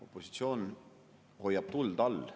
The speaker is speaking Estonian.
Opositsioon hoiab tuld all.